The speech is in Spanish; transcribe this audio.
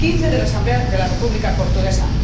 y 15 de la Asamblea de la República Portuguesa.